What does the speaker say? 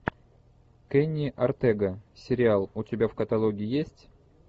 кенни ортега сериал у тебя в каталоге есть